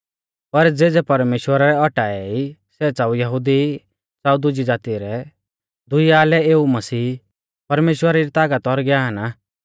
पर ज़ेज़ै परमेश्‍वरै औटाऐ ई सै च़ाऊ यहुदी ई च़ाऊ दुजी ज़ाती रै दुइया लै एऊ मसीह परमेश्‍वरा री तागत और ज्ञान आ